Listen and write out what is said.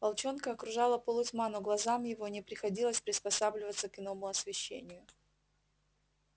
волчонка окружала полутьма но глазам его не приходилось приспосабливаться к иному освещению